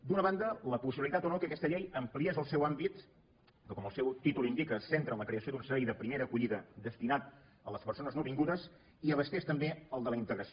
d’una banda la possibilitat o no que aquesta llei ampliés el seu àmbit que com el seu títol indica se centra en la creació d’un servei de primera acollida destinat a les persones nouvingudes i abastés també el de la integració